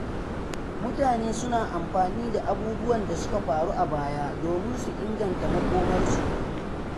Mutane suna amfani da abubuwan da suka faru a baya domin su inganta makomarsu.